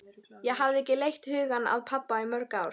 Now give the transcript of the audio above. Ég hafði ekki leitt hugann að pabba í mörg ár.